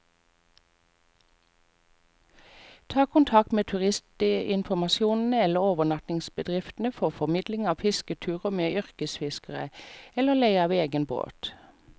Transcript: Ta kontakt med turistinformasjonen eller overnattingsbedriftene for formidling av fisketurer med yrkesfiskere, eller leie av egen båt.